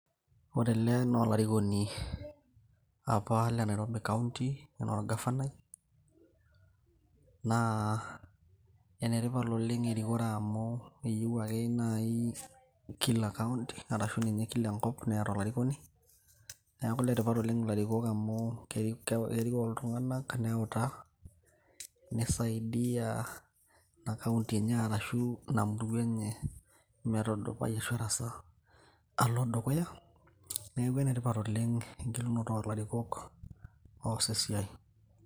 ore ele naa olarikoni apa lenairobi county enaa orgafanai naa enetipat oleng erikore amu keyieu ake naaji kila kaunti arashu ninye kila enkop neeta olarikoni neeku iletipat oleng ilarikok amu kerikoo iltung'anak neutaa nisaidia ina kaunti enye arashu ina murua enye metudupai ashu ersaa alo dukuya neeku enetipat oleng engelunoto olarikok os esiai.